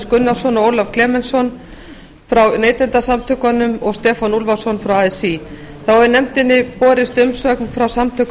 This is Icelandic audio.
gunnarsson og ólaf klemensson frá neytendasamtökunum og stefán úlfarsson frá así þá hefur nefndinni borist umsögn frá samtökum